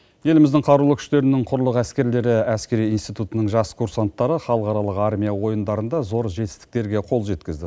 еліміздің қарулы күштерінің құрлық әскерлері әскери институтының жас курсанттары халықаралық армия ойындарында зор жетістіктерге қол жеткізді